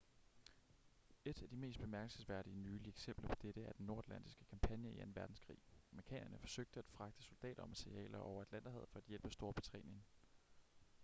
et af de mest bemærkelsesværdige nylige eksempler på dette er den nordatlantiske kampagne i anden verdenskrig amerikanerne forsøgte at fragte soldater og materialer over atlanterhavet for at hjælpe storbritannien